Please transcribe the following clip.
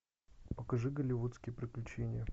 покажи голливудские приключения